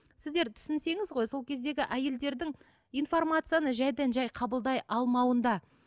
сіздер түсінсеңіз ғой сол кездегі әйелдердің информацияны жайдан жай қабылдай алмауында